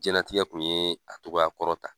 Jiɲɛn latigɛɛ kun ye a cogoya kɔrɔ ta.